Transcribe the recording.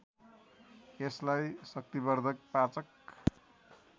यसलाई शक्तिवर्धक पाचक